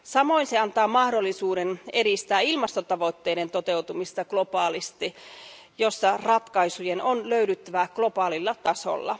Samoin se antaa mahdollisuuden edistää ilmastotavoitteiden toteutumista globaalisti, jossa ratkaisujen on löydyttävä globaalilla tasolla.